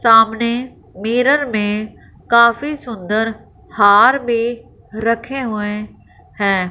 सामने मिरर में काफी सुंदर हार भी रखे हुए हैं।